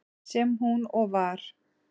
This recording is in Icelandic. Sem hún og var.